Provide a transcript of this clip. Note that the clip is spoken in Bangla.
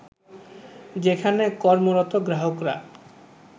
যেখানে কর্মরত গ্রাহকরা